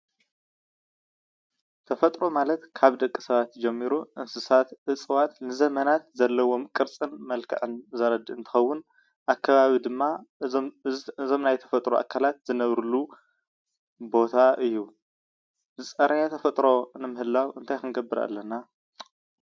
ተፈጥሮ ማለት ካብ ደቂ ሰባት ጀሚሩ እንስሳት እፅዋት ንዘመናት ዘለዎም ቅርፅን መልክዕን ዘለዎም ዘርድእ እንትኸውን ኣብ ከባቢ ድማ እዞም ናይ ተፈጥሮ ኣካላት ዝነብርሉ ቦታ እዩ፡፡ ዝፀረየ ተፈጥሮ ንምህላው እንታይ ክንገብር ኣለና?